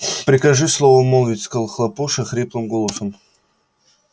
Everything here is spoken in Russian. прикажи слово молвить сказал хлопуша хриплым голосом